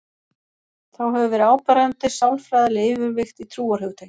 Þá hefur verið áberandi sálfræðileg yfirvigt í trúarhugtakinu.